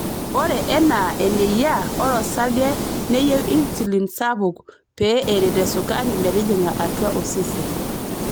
Oree enaa eneyia, ore orsarge neyieu insulin sapuk pee eret esukari metijinga atua osesen.